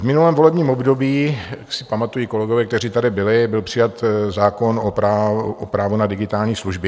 V minulém volebním období, jak si pamatují kolegové, kteří tady byli, byl přijat zákon o právu na digitální služby.